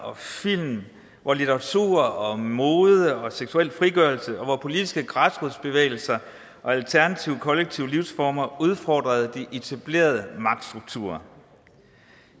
og film litteratur mode og seksuel frigørelse og politiske græsrodsbevægelser og alternative kollektive livsformer udfordrede de etablerede magtstrukturer